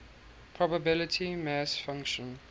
probability mass function